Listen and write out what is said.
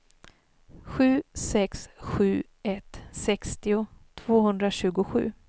sju sex sju ett sextio tvåhundratjugosju